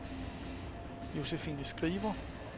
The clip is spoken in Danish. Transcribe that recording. Josefine Skriver